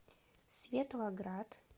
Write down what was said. светлоград